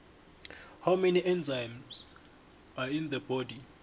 how many enzymes are in the body